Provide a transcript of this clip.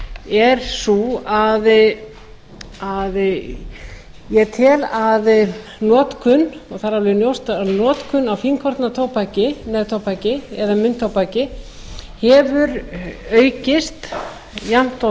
er sú að ég tel að notkun og það er alveg ljóst að notkun á fínkorna tóbaki neftóbaki eða munntóbaki hefur aukist jafnt og